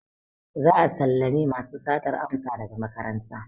Za'a sallame masu satar amsa daga makaranta.